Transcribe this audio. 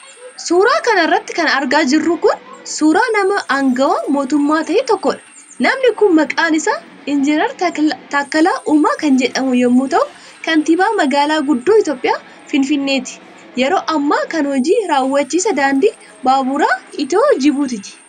Suura kana irratti kan argaa jirru kun, suura nama aangawa mootummaa ta'e tokkoodha. Namni kun maqaan isaa Injinar Taakkala Uumaa kan jedhamu yoo ta'u, kantiibaa magaalaa guddoo Itoophiyaa ,finfinneeti. Yeroo ammaa kana hoji raawwachiisaa daandii baaburaa Itiyoo-Jibutiiti.